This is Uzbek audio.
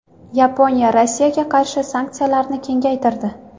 Yaponiya Rossiyaga qarshi sanksiyalarini kengaytirdi.